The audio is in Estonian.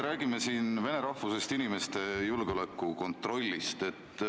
Räägime siin vene rahvusest inimeste julgeolekukontrollist.